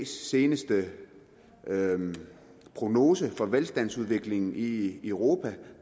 seneste prognose for velstandsudviklingen i europa